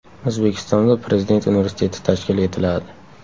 O‘zbekistonda Prezident universiteti tashkil etiladi.